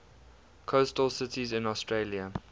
coastal cities in australia